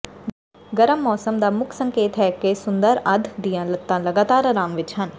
ਗਰਮ ਮੌਸਮ ਦਾ ਮੁੱਖ ਸੰਕੇਤ ਹੈ ਕਿ ਸੁੰਦਰ ਅੱਧ ਦੀਆਂ ਲੱਤਾਂ ਲਗਾਤਾਰ ਆਰਾਮ ਵਿੱਚ ਹਨ